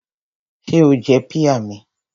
Ṣé o jẹ píà mi?